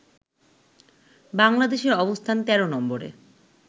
বাংলাদেশের অবস্থান ১৩ নম্বরে